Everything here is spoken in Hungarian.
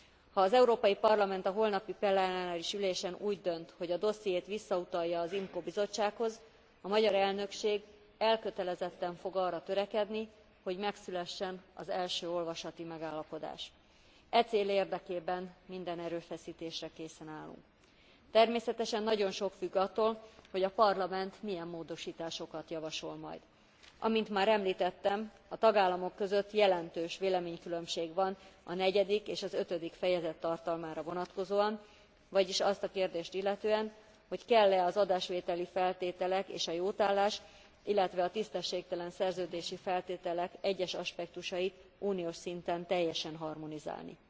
Ha az Európai Parlament a holnapi plenáris ülésen úgy dönt, hogy a dossziét visszautalja az IMCO bizottsághoz, a magyar elnökség elkötelezetten fog arra törekedni, hogy megszülessen az első olvasati megállapodás. E cél érdekében minden erőfeszítésre készen állunk. Természetesen nagyon sok függ attól, hogy a Parlament milyen módosításokat javasol majd. Amint már említettem, a tagállamok között jelentős véleménykülönbség van a negyedik és az ötödik fejezet tartalmára vonatkozóan, vagyis azt a kérdést illetően, hogy kell e az adásvételi feltételek és a jótállás, illetve a tisztességtelen szerződési feltételek egyes aspektusait uniós szinten teljesen harmonizálni.